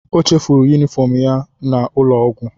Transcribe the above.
O chefuru yunifọm ya n'ụlọọgwụ.